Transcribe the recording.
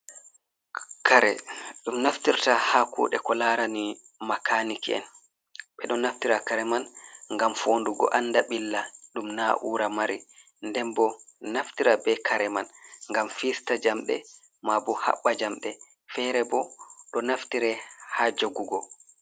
Kare ɗum naftirta ha kude ko larani makaniki'en, ɓe ɗo naftira kare man ngam fo'ndugo anda ɓilla ɗum naa'ura mari, nden bo naftira ɓe kare man ngam fista jamɗe maabo haɓɓa jamde, fere bo ɗo naftira ha jogugo.